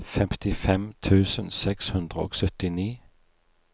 femtifem tusen seks hundre og syttini